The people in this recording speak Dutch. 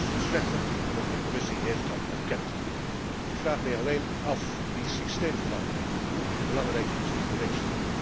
Het wordt zelfs slechter en ook de Commissie heeft dat erkend. Ik vraag mij alleen af, die systeemverandering, hoe belangrijk is die geweest?